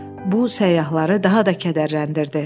Bu səyyahları daha da kədərləndirdi.